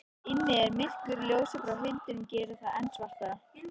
Inni er myrkur, ljósið frá hundinum gerir það enn svartara.